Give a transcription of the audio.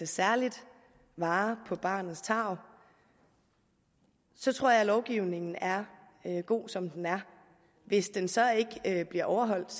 særlig vare på barnets tarv så tror jeg at lovgivningen er god som den er hvis den så ikke bliver overholdt